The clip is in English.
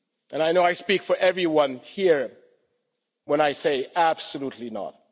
I know I speak for everyone here when I say absolutely not.